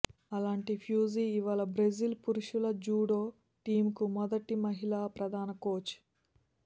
అలాంటి ఫ్యూజీ ఇవాళ బ్రెజిల్ పురుషుల జూడో టీమ్కు మొదటి మహిళా ప్రధాన కోచ్